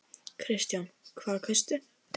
Kristján: Hvað kaustu?